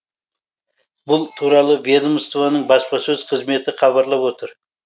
бұл туралы ведомствоның баспасөз қызметі хабарлап отыр